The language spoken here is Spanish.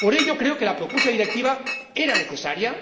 Por ello creo que la propuesta de Directiva era necesaria.